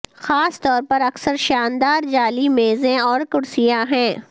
خاص طور پر اکثر شاندار جعلی میزیں اور کرسیاں ہیں